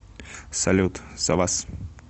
салют за вас